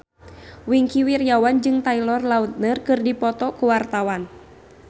Wingky Wiryawan jeung Taylor Lautner keur dipoto ku wartawan